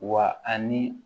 Wa ani